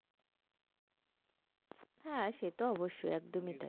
হ্যাঁ সে তো অবশ্যই একদমই তাই।